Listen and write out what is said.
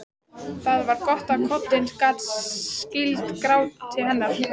Það var gott að koddinn gat skýlt gráti hennar.